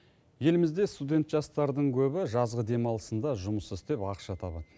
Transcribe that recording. елімізде студент жастардың көбі жазғы демалысында жұмыс істеп ақша табады